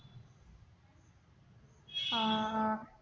ആ ആ